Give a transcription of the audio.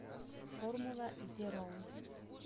формула зеро